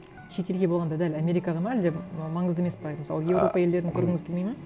шетелге болғанда дәл америкаға ма әлде ы маңызды емес пе мысалы еуропа елдерін көргіңіз келмейді ме